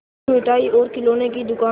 तब मिठाई और खिलौने की दुकान